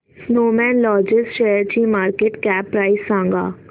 Snowman logist शेअरची market cap price सांगा